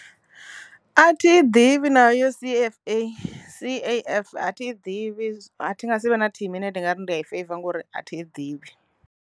A thi i ḓivhi na C_F_A, C_A_F a thi ḓivhi a thi nga si vhe na thimu i ne ndi nga ri ndi a i feiva ngauri a thi ḓivhi.